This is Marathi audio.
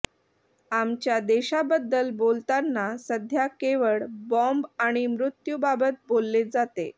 आमच्या देशाबद्दल बोलताना सध्या केवळ बॉम्ब आणि मृत्यूबाबत बोलले जाते